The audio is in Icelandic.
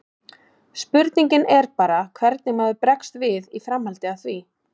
Spurningin er bara hvernig maður bregst við í framhaldi af því.